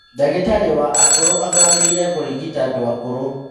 Ndagĩtarĩ wa akũrũ athomeire kũrigita andũ akũrũ